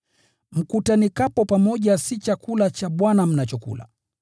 Mkutanikapo pamoja si chakula cha Bwana mnachokula,